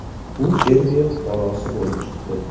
U Serbiya fuqarosi bo‘lib chiqdi.